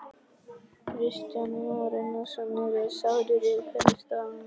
Kristján Már Unnarsson: Eruð þið sárir yfir hvernig staðan er?